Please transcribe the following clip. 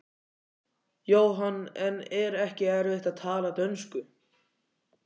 Jóhann: En er ekki erfitt að tala dönsku?